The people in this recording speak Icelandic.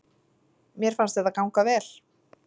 Mér fannst þetta ganga vel